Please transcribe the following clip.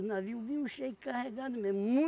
O navio vinham cheio, carregado mesmo.